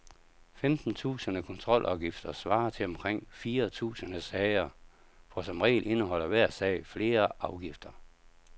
Femten tusinde kontrolafgifter svarer til omkring fire tusinde sager, for som regel indeholder hver sag flere afgifter.